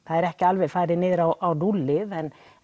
ekki alveg farið á núllið